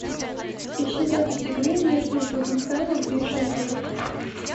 ищи запись игры между тоттенхэмом и шеффилдом